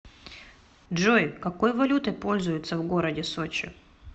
джой какой валютой пользуются в городе сочи